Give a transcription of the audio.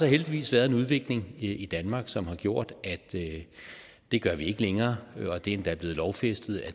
heldigvis været en udvikling i danmark som har gjort at det gør vi ikke længere og det er endda blevet lovfæstet at